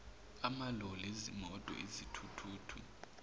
amaloli izimoti izithuthuthu